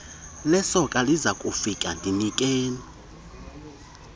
lesoka lizakufika ndinikeni